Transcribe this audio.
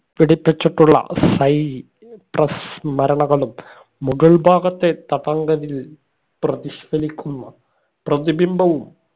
പിടിപ്പിച്ചിട്ടുള്ള cypress മരണകളും മുഗൾ ഭാഗത്തെ പതങ്കതിൽ പ്രതിഷ്‌ഫലിക്കുന്ന പ്രതിഭിംഭവും